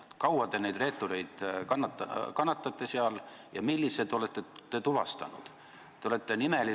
Kui kaua te neid reetureid kannatate seal ja millised te olete tuvastanud?